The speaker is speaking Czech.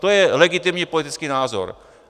To je legitimní politický názor.